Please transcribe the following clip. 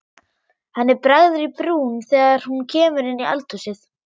Henni bregður í brún þegar hún kemur inn í eldhúsið.